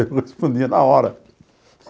Eu respondia na hora.